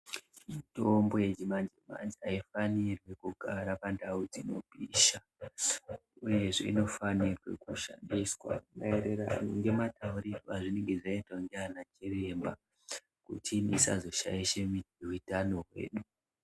Mitombo yechimanje-manje haifanirwi kugara pandau dzinopisha, uyezve inofanirwe kushandiswa maererano ngemataurirwe azvinenge zvaitwa ndianachiremba kuti isazoshaishe utano hwedu.